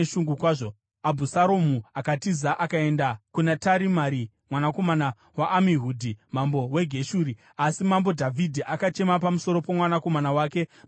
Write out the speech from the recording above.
Abhusaromu akatiza akaenda kuna Tarimai mwanakomana waAmihudhi, mambo weGeshuri. Asi mambo Dhavhidhi akachema pamusoro pomwanakomana wake mazuva ose.